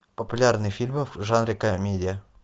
популярные фильмы в жанре комедия